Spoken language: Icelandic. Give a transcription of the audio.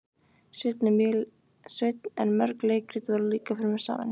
Sveinn en mörg leikrit voru líka frumsamin.